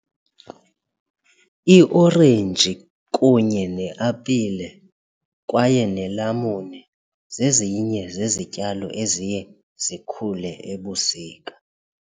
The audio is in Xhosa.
Iorenji kunye neapile kwaye nelamuni zezinye zezityalo eziye zikhule ebusika.